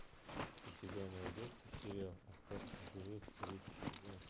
у тебя найдется сериал остаться в живых третий сезон